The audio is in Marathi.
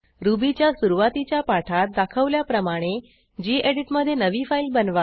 रुबीच्या सुरूवातीच्या पाठात दाखवल्याप्रमाणे गेडीत मधे नवी फाईल बनवा